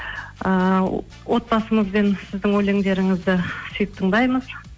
ыыы отбасымызбен сіздің өлеңдеріңізді сүйіп тыңдаймыз